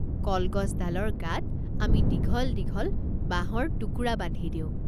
কল গছডালৰ গাত আমি দীঘল দীঘল বাঁহৰ টুকুৰা বান্ধি দিওঁ।